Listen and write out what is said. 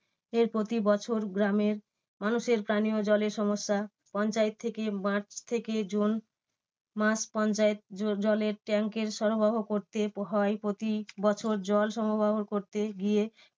এর প্রতি বছর গ্রামের মানুষের পানিও জলের সমস্যা পঞ্চায়েত থেকে মার্চ থেকে জুন মাস পঞ্চায়েত জ~ জলের tank এর সরবরাহ করতে হয়। প্রতি বছর জল সরবরাহ করতে গিয়ে